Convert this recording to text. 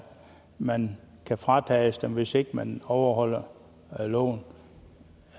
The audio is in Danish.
man kan fratages dem hvis ikke man overholder loven